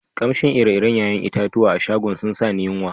Kamshin ire-ire yayan itatuwan a'shagon sun sa ni yunwa.